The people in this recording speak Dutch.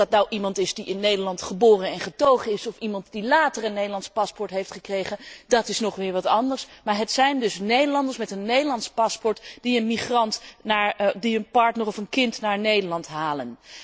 Of dat nu iemand is die in Nederland geboren en getogen is of iemand die later een Nederlands paspoort heeft gekregen, dat is nog weer wat anders, maar het zijn dus Nederlanders met een Nederlands paspoort die een migrant, hun partner of hun kind, naar Nederland halen.